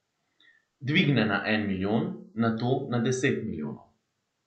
Dvigne na en milijon, nato na deset milijonov.